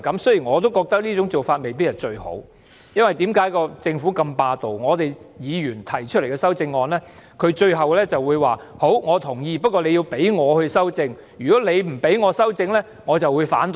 雖然我認為這種做法未必最好，因為政府很霸道，對於議員提出的修正案，政府即使表示同意，但也要經政府修正，否則便會反對。